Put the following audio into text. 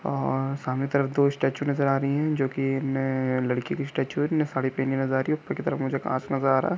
अ सामने की तरफ दो स्टेचू नजर आ रही है जोकि ने लड़की की स्टेचू है इनने साड़ी पहनी नजर आ रही है ऊपर मुझे काँच नजर आ रहा हैं।